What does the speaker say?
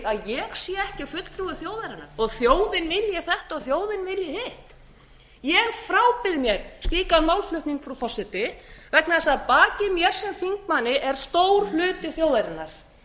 ég sé ekki fulltrúi þjóðarinnar og þjóðin vilji þetta og þjóðin vilji hitt ég frábið mér slíkan málflutning frú forseti vegna þess að baki mér sem þingmanni er stór hluti þjóðarinnar